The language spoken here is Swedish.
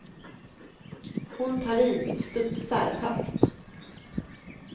Hon tar i och studsar högt.